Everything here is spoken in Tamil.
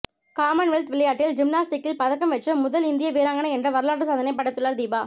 காமன்வெல்த் விளையாட்டில் ஜிம்னாஸ்டிக்சில் பதக்கம் வென்ற முதல் இந்திய வீராங்கனை என்ற வரலாற்று சாதனையை படைத்துள்ளார் தீபா